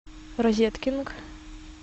розеткинг